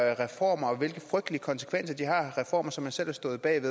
reformer og hvilke frygtelige konsekvenser de har reformer som man selv har stået bag og